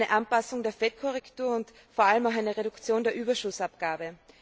Eine Anpassung der Fettkorrektur und vor allem auch eine Reduktion der Überschussabgabe.